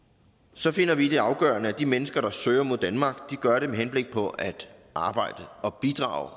så finder vi det afgørende at de mennesker der søger mod danmark gør det med henblik på at arbejde og bidrage